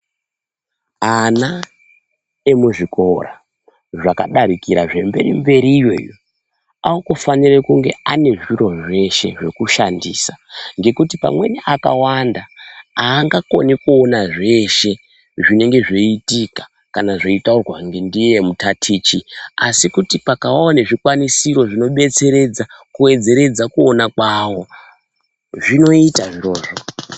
Ana emuzvikora zvakadarikira zvemberi mberi iyo, anofanire kunge ane zviro zveshe zvekushandisa ngekuti pamweni akawanda angakoni kuona zveshe zvinenge zveiitika kana zvetaurwa ngeiye mutatichisi, kuti pakavawo zvikwanisiro zvinobetseredza kuona kwavo, zvinoita zvirozvo.